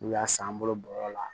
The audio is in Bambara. N'u y'a san an bolo bɔrɔ la